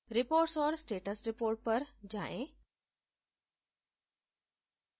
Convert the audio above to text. reports और status report पर जाएँ